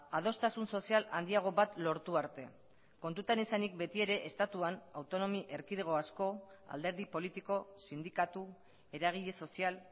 adostasun sozial handiago bat lortu arte kontutan izanik beti ere estatuan autonomia erkidego asko alderdi politiko sindikatu eragile sozial